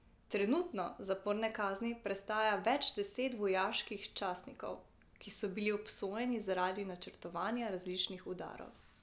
Trenutno zaporne kazni prestaja več deset vojaških častnikov, ki so bili obsojeni zaradi načrtovanja različnih udarov.